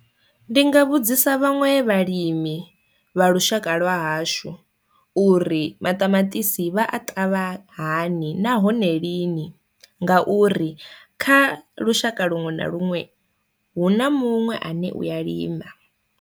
Ndi nga vhudzisa vhaṅwe vhalimi vha lushaka lwa hashu uri maṱamaṱisi vha a ṱavha hani nahone lini nga uri kha lushaka luṅwe na luṅwe hu na munwe ane uya lima.